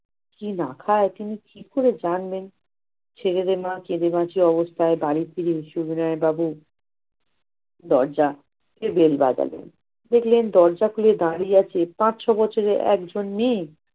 কি না খায় তিনি কি করে জানবেন? ছেড়ে দে মা কেঁদে বাঁচি অবস্থায় বাড়ি ফিরে এসে বিনয় বাবু, দরজা বেল বাজালেন। দেখলেন দরজা খুলে দাঁড়িয়ে আছে পাঁচ ছ বছরের একজন মেয়ে!